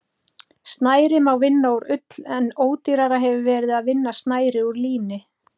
Snæri má vinna úr ull en ódýrara hefur verið að vinna snæri úr líni.